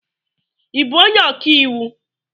Ị bú onye ọkàiwu?